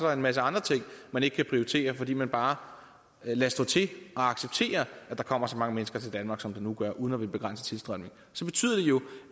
er en masse andre ting man ikke kan prioritere fordi man bare lader stå til og accepterer at der kommer så mange mennesker til danmark som der nu gør uden at ville begrænse tilstrømningen så betyder det jo